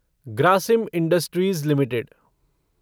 Grasim industries limited